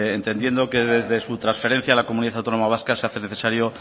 entendiendo que desde su trasferencia a la comunidad autónoma vasca se hace necesario